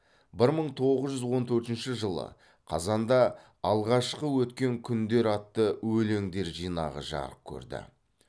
бір мың тоғыз жүз он төртінші жылы қазанда алғашқы өткен күндер атты өлеңдер жинағы жарық көрді